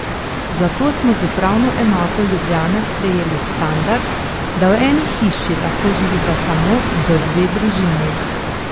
Zato smo z Upravno enoto Ljubljana sprejeli standard, da v eni hiši lahko živita samo do dve družini.